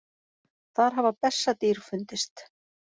Þar hafa bessadýr fundist.